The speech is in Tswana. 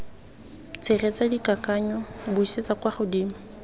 tshegetsa dikakanyo buisetsa kwa godimo